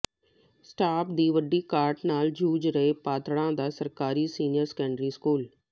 staff ਦੀ ਵੱਡੀ ਘਾਟ ਨਾਲ ਜੂਝ ਰਿਹੈ ਪਾਤੜਾਂ ਦਾ ਸਰਕਾਰੀ ਸੀਨੀਅਰ ਸੈਕੰਡਰੀ ਸਕੂਲ